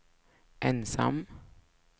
ensam